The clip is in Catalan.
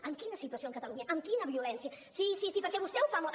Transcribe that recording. amb quina situació a catalunya amb quina violència sí sí perquè vostè ho fa molt